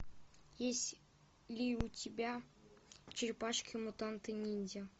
есть ли у тебя черепашки мутанты ниндзя